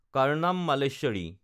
Karnam Malleswari